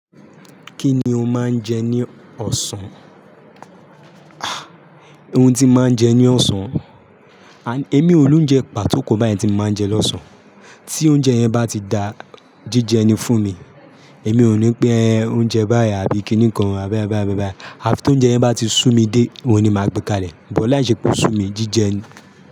Kí ni o máa ń jẹ ní ọ̀sán? Ah! Ohun tí mo máa ń jẹ ní ọ̀sán, emi ò lóúnjẹ pàtó kan báyìí tí mo máa ń jẹ lọ́sàn. Tí oúnjẹ yẹn bá ti da jíjẹni fún mi, èmi ò ní pè oúnjẹ báyìí àbí kíníkan, àbáyàmbáyàmbáyà. Àfi tóúnjẹ yẹn bá ti sú mi dé, òun ni màá gbé kalẹ̀. Bọ̀ láìṣẹ́ pé ó sú mi jíjẹni.